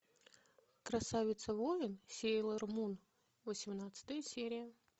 красавица воин сейлор мун восемнадцатая серия